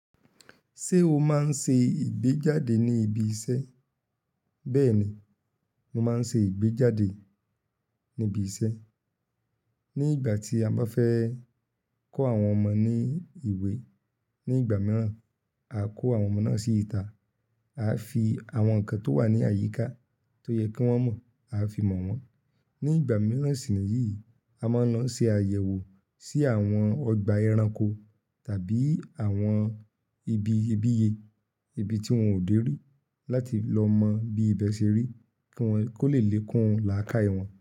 Ṣé o máa ń ṣe ìgbéjáde ní ibi iṣẹ́? Bẹ́ẹ̀ni, mo máa ń ṣe ìgbéjáde níbi iṣẹ́. Ní ìgbà tí a bá fẹ́ kọ́ àwọn ọmọ ní ìwé. Ní ìgbà mìíràn, a kó àwọn ọmọ náà sí ìta. A fi àwọn nǹkan tó wà ní àyíká tó yẹ kí wọ́n mọ̀, a fi mo wọ́n. Ní ìgbà mìíràn sì níyìí, a máa ń lọ ṣe àyẹ̀wò sí àwọn ọgbà ẹranko tàbí àwọn ibi ìbíye, ibi tí wọ́n ò dé rí láti lọ mọ bí ibẹ̀ ṣe rí kí wọ́n, kó lè lékun lakaye won.